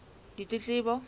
ditletlebo